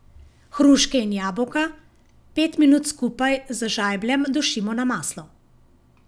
Hruške in jabolka pet minut skupaj z žajbljem dušimo na maslu.